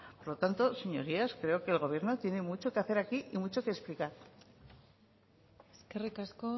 por lo tanto señorías creo que el gobierno tiene mucho que hacer aquí y mucho que explicar eskerrik asko